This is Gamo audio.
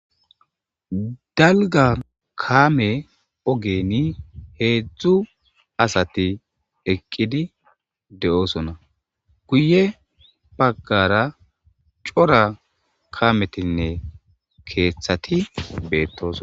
dalga kaame ogeni heedzdzu asati eqqidi de7oosonna guye baggara cora kametinne keeththati beettooso